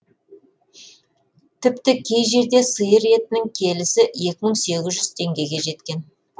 тіпті кей жерде сиыр етінің келісі екі мың сегіз жүз теңгеге жеткен